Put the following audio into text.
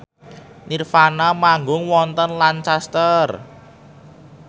nirvana manggung wonten Lancaster